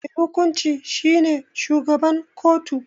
Mai hukunci shi ne shugaban kotu.